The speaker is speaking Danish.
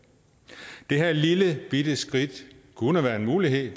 det her lillebitte skridt kunne være en mulighed